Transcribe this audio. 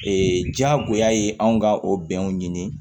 jagoya ye anw ka o bɛnw ɲini